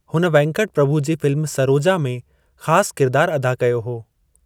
हुन वेंकट प्रभु जी फ़िल्म सरोजा में ख़ासि किरिदारु अदा कयो हो।